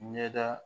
Ɲɛda